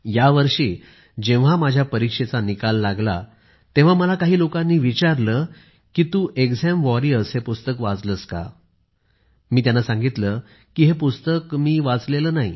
यावर्षी जेव्हा माझ्या परीक्षेचा निकाल लागला तेव्हा मला काही लोकांनी विचारले की तू एक्झाम वॉरियर्स हे पुस्तक वाचलेस का मी त्यांना सांगितले की हे पुस्तक मी वाचलेले नाही